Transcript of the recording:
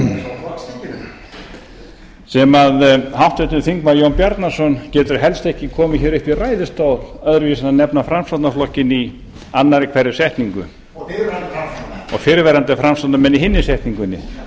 á góma sem háttvirtur þingmaður jón bjarnason getur helst ekki komið hér upp í ræðustól öðruvísi en að nefna framsóknarflokkinn í annarri hverri setningu og fyrrverandi framsóknarmenn og fyrrverandi framsóknarmenn í hinni setningunni það